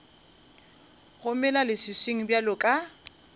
go mela leswiswing bjalo ka